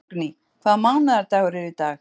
Borgný, hvaða mánaðardagur er í dag?